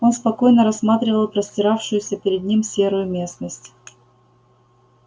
он спокойно рассматривал простиравшуюся перед ним серую местность